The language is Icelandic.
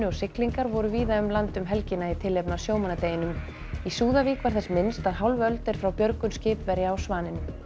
og siglingar voru víða um land um helgina í tilefni af sjómannadeginum í Súðavík var þess minnst að hálf öld er frá björgun skipverja á Svaninum